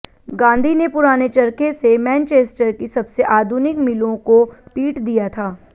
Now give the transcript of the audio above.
गांधी ने पुराने चरखे से मैनचेस्टर की सबसे आधुनिक मिलों को पीट दिया था